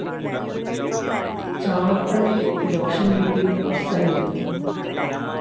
ചാണപ്പള്ളി ലക്ഷം വീട്ടിൽ സനിൽ